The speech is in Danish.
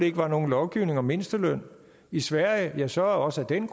ikke var nogen lovgivning om mindsteløn i sverige ja så også af den